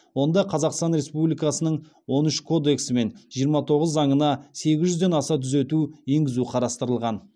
онда қазақстан республикасының он үшінші кодексі мен жиырма тоғызыншы заңына сегіз жүзден аса түзету енгізу қарастырылған